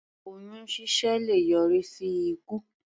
Oyún ṣíṣẹ́ le yọrí sí ikú.